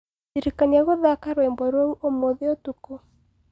ndĩrĩkanĩa guthaka rwĩmbo rũũũmũthĩũtũkũ